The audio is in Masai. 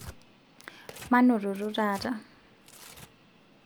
manototo taata